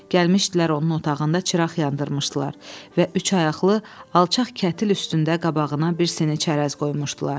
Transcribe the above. Gəlmişdilər onun otağında çıraq yandırmışdılar və üçayaqlı alçaq kətil üstündə qabağına bir sini çərəz qoymuşdular.